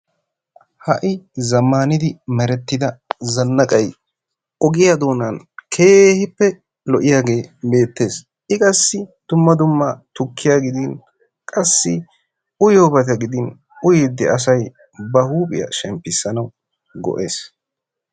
Ha'i zaammaanidi merettida zannaaqay ogiyaa doonan keehippe lo"iyaage beettees. I qassi dumma dumma tukkiyaa gidin qassi uyiyoobata gidin uyiddi asay ba huuphphiyaa shemmpisanaw go"ees.